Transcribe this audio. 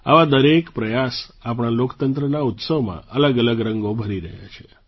આવા દરેક પ્રયાસ આપણા લોકતંત્રના ઉત્સવમાં અલગઅલગ રંગો ભરી રહ્યા છે